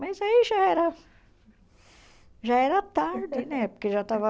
Mas aí já era já era tarde né, porque já estava...